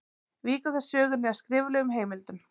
Víkur þá sögunni að skriflegum heimildum.